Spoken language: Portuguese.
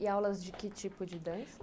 E aulas de que tipo de dança?